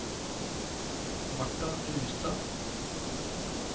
Martha Rustad